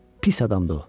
Pis adamdır o.